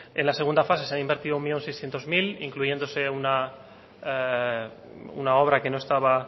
en la segunda fase han invertido un millón seiscientos mil incluyéndose una obra que no estaba